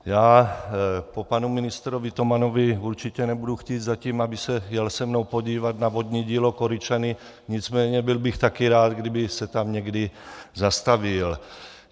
Já po panu ministrovi Tomanovi určitě nebudu zatím chtít, aby se jel se mnou podívat na vodní dílo Koryčany, nicméně byl bych také rád, kdyby se tam někdy zastavil.